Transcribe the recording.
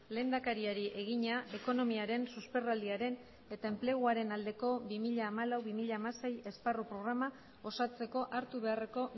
lehendakariari egina ekonomiaren susperraldiaren eta enpleguaren aldeko bi mila hamalau bi mila hamasei esparru programa osatzeko hartu beharreko